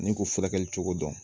Ni k'u furakɛli cogo dɔn